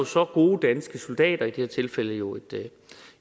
så gode danske soldater i det her tilfælde jo